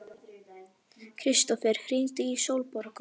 Kristófer, hringdu í Sólborgu.